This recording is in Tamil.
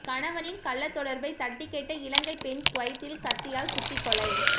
கணவனின் கள்ளத் தொடர்பை தட்டிக் கேட்ட இலங்கைப் பெண் குவைத்தில் கத்தியால் குத்திக் கொலை